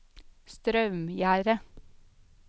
Straumgjerde